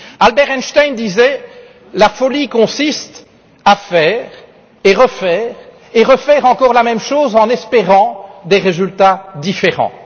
Albert Einstein disait que la folie consiste à faire, refaire et refaire encore la même chose en espérant des résultats différents.